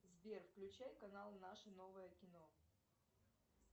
сбер включай канал наше новое кино